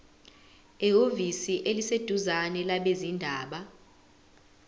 ehhovisi eliseduzane labezindaba